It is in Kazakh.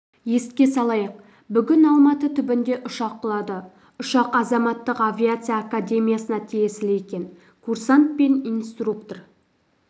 еске салайық бүгін алматы түбінде ұшақ құлады ұшақ азаматтық авиация академиясына тиесілі екен курсант пен инструктор